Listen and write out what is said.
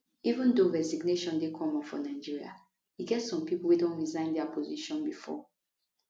even though resignation no dey common for nigeria e get some pipo wey don resign dia position bifor